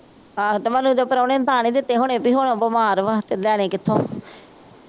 ਆਹੋ ਤੇ ਮਨੂੰ ਦੇ ਪ੍ਰਾਹੁਣੇ ਨੇ ਤਾਂ ਨਹੀ ਦਿੱਤੇ ਹੋਣੇ ਵੀ ਹੁਣ ਬੀਮਾਰ ਵਾ। ਕਿੱਦਾਂ ਨਹੀ ਕਿੱਥੋਂ